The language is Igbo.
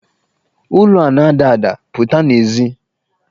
Ụlo a na-ada ada, pụta n'èzí!